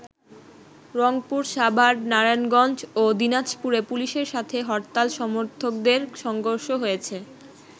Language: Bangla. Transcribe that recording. রংপুর, সাভার, নারায়ণগঞ্জ ও দিনাজপুরে পুলিশের সাথে হরতাল সমর্থকদের সংঘর্ষ হয়েছে।